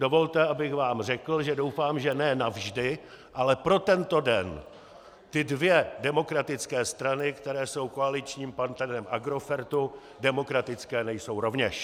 Dovolte, abych vám řekl, že doufám, že ne navždy, ale pro tento den, ty dvě demokratické strany, které jsou koaličním partnerem Agrofertu, demokratické nejsou rovněž.